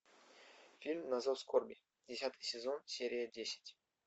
фильм на зов скорби десятый сезон серия десять